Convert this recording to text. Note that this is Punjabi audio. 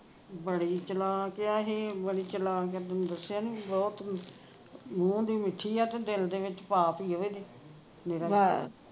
ਬੜੀ ਚਲਾਕ ਆ ਇਹੇ ਬੜੀ ਚਲਾਕ ਆ ਤੈਨੂੰ ਦਸਿਆ ਨਾ ਬਹੁਤ ਮੂੰਹ ਦੀ ਮੀਠੀ ਆ ਤੇ ਦਿਲ ਦੇ ਵਿਚ ਪਾਪ ਈ ਆ ਓਹਦੇ